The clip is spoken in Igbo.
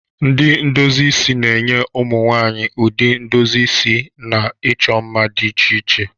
Ndị ndozi isi na-enye ụmụ nwaanyị ụdị ndozi isi na ịchọ mma dị iche iche.